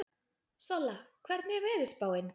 Solla, hvernig er veðurspáin?